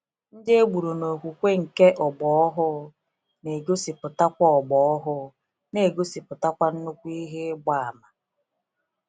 Ndị egburu n'okwukwe nke ọgbọ ọhụụ, n'egosipụtakwa ọgbọ ọhụụ, n'egosipụtakwa nnukwu ihe ịgba àmà.